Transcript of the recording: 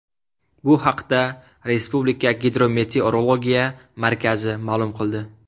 Bu haqda Respublika Gidrometeorologiya markazi ma’lum qildi .